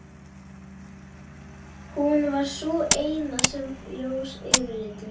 Hún var sú eina sem var ljós yfirlitum.